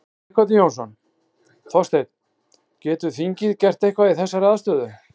Sighvatur Jónsson: Þorsteinn, getur þingið gert eitthvað í þessari aðstöðu?